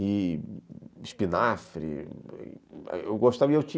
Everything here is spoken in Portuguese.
E espinafre, eu gostava